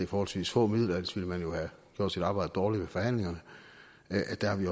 forholdsvis få midler ellers ville man jo have gjort sit arbejde dårligt ved forhandlingerne